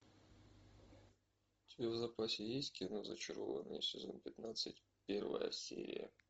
у тебя в запасе есть кино зачарованные сезон пятнадцать первая серия